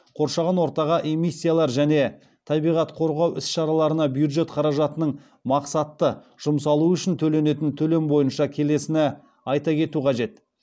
қоршаған ортаға эмиссиялар және табиғат қорғау іс шараларына бюджет қаражатының мақсатты жұмсалуы үшін төленетін төлем бойынша келесіні айта кету қажет